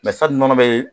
sari nɔnɔ be yen